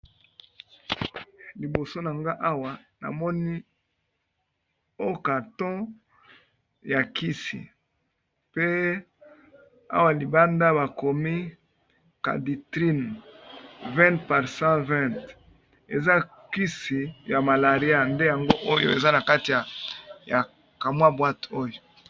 liboso na nga awa namoni okato ya kisi pe awa libanda bakomi caditrine 20 /a 10 20 eza kisi ya malaria nde yango oyo eza na kati ya ya kamwa bwate oyo